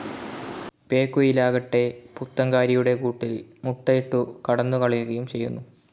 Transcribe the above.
പേക്കുയിലാകട്ടെ പുത്തങ്കാരിയുടെ കൂട്ടിൽ മുട്ടയിട്ടു കടന്നുകളയുകയും ചെയ്യുന്നു.